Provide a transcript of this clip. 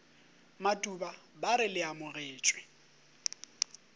matuba ba re le amogetšwe